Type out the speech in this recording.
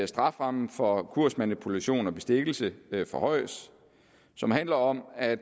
strafferammen for kursmanipulation og bestikkelse forhøjes som handler om at